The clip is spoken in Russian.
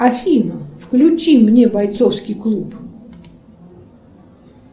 афина включи мне бойцовский клуб